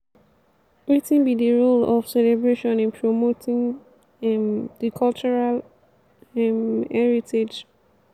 wetin be di role of celebration in promoting um di cultural um heritage?